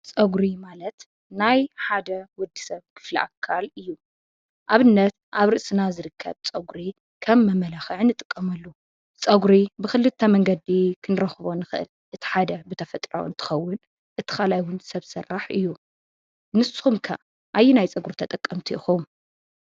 ፀጉሪ ማለት ናይ ሓደ ውዲሰብ ክፍለ ኣካል ኣዩ። ኣብነት ኣብ ርእስና ዝርከብ ጸጉሪ ከም መማላኪዒ ንጥቀመሉ ፀጉሪ ብክልተ መንገዲ ንክንረክቦ ንኽእል ።እቲ ሓደ ብተፎጥራዊ እንትኸዉን እቲ ኻልኣይ ሰብ ስራሕ እዩ። ንስኹም ኸ ኣይናይ ፀጉሪ ተጠቀምቲ ኢኹም?